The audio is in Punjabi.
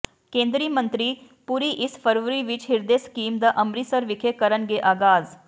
ਕੇਂਦਰੀ ਮੰਤਰੀ ਪੁਰੀ ਇਸ ਫਰਵਰੀ ਵਿੱਚ ਹਿਰਦੇ ਸਕੀਮ ਦਾ ਅੰਮ੍ਰਿਤਸਰ ਵਿਖੇ ਕਰਨਗੇ ਆਗਾਜ਼